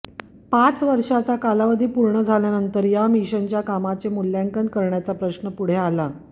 पाच वर्षांचा कालावधी पूर्ण झाल्यानंतर या मिशनच्या कामाचे मूल्यांकन करण्याचा प्रश्न पुढे आला